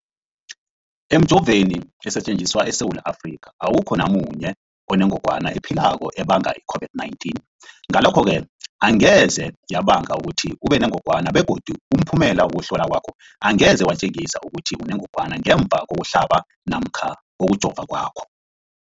Emijoveni esetjenziswa eSewula Afrika, awukho namunye onengog wana ephilako ebanga i-COVID-19. Ngalokho-ke angeze yabanga ukuthi ubenengogwana begodu umphumela wokuhlolwan kwakho angeze watjengisa ukuthi unengogwana ngemva kokuhlaba namkha kokujova kwakho.